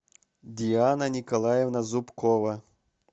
диана николаевна зубкова